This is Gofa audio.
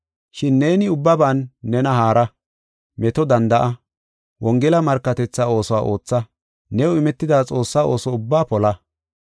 Shin neeni ubbaban nena haara. Meto danda7a. Wongela markatetha oosuwa ootha. New imetida Xoossaa ooso ubbaa pola.